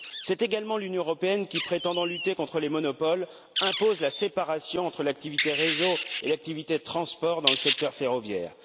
C'est également l'Union européenne qui, prétendant lutter contre les monopoles, impose la séparation entre l'activité réseau et l'activité transport dans le secteur ferroviaire.